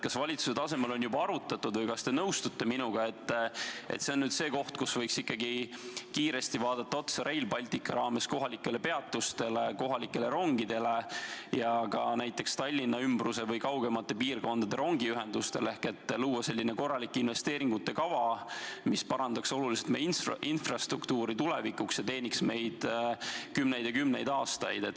Kas valitsuse tasemel on seda juba arutatud või kas te nõustute minuga, et see on nüüd see koht, kus võiks Rail Balticu raames vaadata kiiresti otsa kohalikele peatustele, kohalikele rongidele ja ka näiteks Tallinna ümbruse või kaugemate piirkondade rongiühendusele, et luua korralik investeeringute kava, mis parandaks tulevikus oluliselt meie infrastruktuuri ja teeniks meid kümneid aastaid?